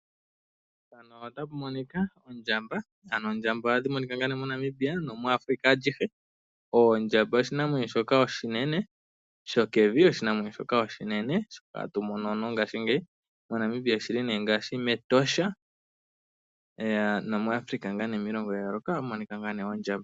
Mpano ota pu monika ondjamba, ano ondjamba ohadhi monika ngaa nee moNamibia nomuAfrika alyihe, oondjamba oshinamwenyo shoka oshinene sho kevi, oshinamwenyo shoka oshinene shoka hatu mono mongaashingeyi moNamibia oshili nee ngaashi mEtosha nomuAfrika ngaa nee miilongo ya yooloka oha mu monika ngaa nee oondjamba.